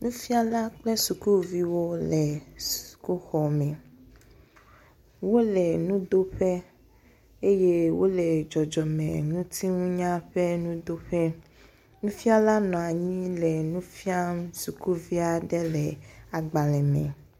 Nufiala kple sukuvi wo le sukuxɔme. wo le nudoƒe eye wo le dzɔdzɔmeŋutinunya ƒe nudoƒe. Nufiala nɔ anyi le nu fiam sukuvi aɖe le agbale me.